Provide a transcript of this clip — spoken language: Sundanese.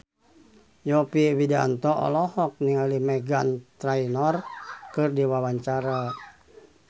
Yovie Widianto olohok ningali Meghan Trainor keur diwawancara